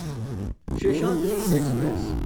Seshadri express